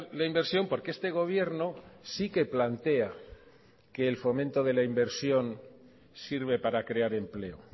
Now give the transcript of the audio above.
la inversión porque este gobierno sí que plantea que el fomento de la inversión sirve para crear empleo